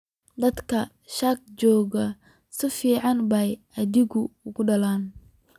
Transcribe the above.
Dadkii shirka joogay si fiican bay idiinku hadleen